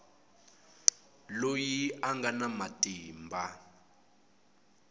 loyi a nga na matimba